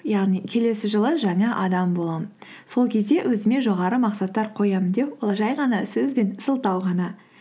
яғни келесі жылы жаңа адам боламын сол кезде өзіме жоғары мақсаттар қоямын деу ол жай ғана сөз бен сылтау ғана